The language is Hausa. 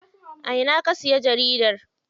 A ina ka siya jaridar?